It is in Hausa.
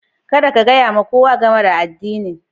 Kada ka gaya wa kowa game da addinin!